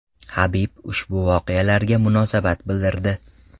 Habib ushbu voqealarga munosabat bildirdi .